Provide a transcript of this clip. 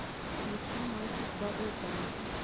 включи мальчик бабл гам